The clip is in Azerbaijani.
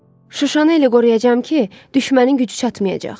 Şuşanı elə qoruyacağam ki, düşmənin gücü çatmayacaq.